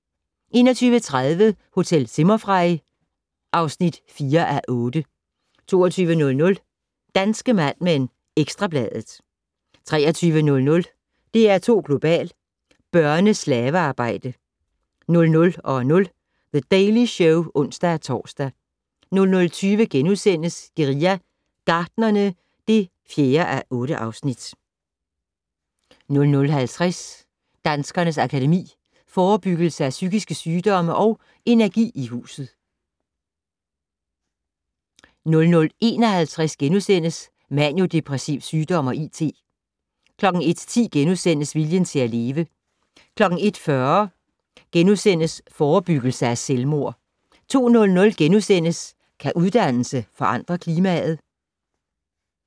21:30: Hotel Zimmerfrei (4:8) 22:00: Danske Mad Men: Ekstra Bladet 23:00: DR2 Global: Børne-slavearbejdere 00:00: The Daily Show (ons-tor) 00:20: Guerilla Gartnerne (4:8)* 00:50: Danskernes Akademi: Forebyggelse af psykiske sygdomme & Energi i huset * 00:51: Maniodepressiv sygdom og IT * 01:10: Viljen til at leve * 01:40: Forebyggelse af selvmord * 02:00: Kan uddannelse forandre klimaet? *